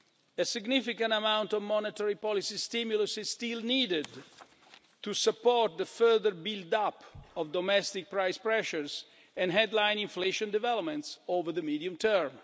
A significant amount of monetary policy stimulus is still needed to support the further build-up of domestic price pressures and headline inflation developments over the medium term.